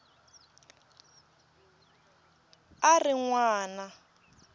a a ri n wana